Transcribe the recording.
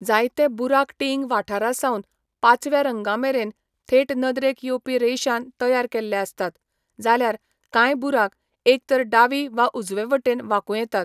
जायते बुराक टीइंग वाठारासावन पाचव्या रंगामेरेन थेट नदरेक येवपी रेशान तयार केल्ले आसतात, जाल्यार कांय बुराक एक तर डावी वा उजवे वटेन वांकूं येतात.